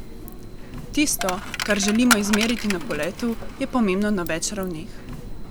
Tisto, kar želimo izmeriti na poletu, je pomembno na več ravneh.